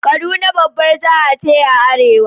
Kaduna babbar jiha ce a arewa.